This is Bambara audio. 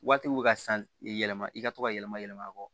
Waatiw bɛ ka san yɛlɛma i ka to ka yɛlɛma yɛlɛma a kɔ